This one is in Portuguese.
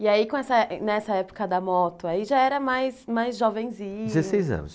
E aí, com essa, nessa época da moto aí, já era mais, mais jovenzinho? Dezesseis anos